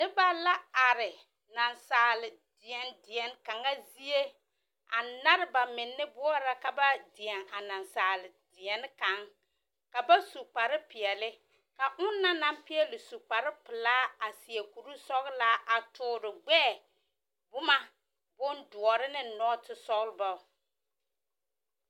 Noba la are nansaale dẽɛ deɛne kaŋa zie, a nare ba menne boɔrɔ ka ba dẽɛ a nansaale deɛne kaŋ, ka ba su kparepeɛle, ka ona na naŋ peɛle su kparepelaa a seɛ kur-sɔgleaa a toore gbɛɛ, boma, bondoɔre neŋ nɔɔtesɔlbɔ.